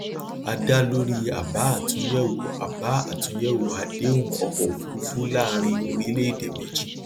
a da lórí àbá àtúnyẹwò àbá àtúnyẹwò àdéhùn ọkọ òfurufú láàrin orílẹèdè méjì